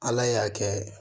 Ala y'a kɛ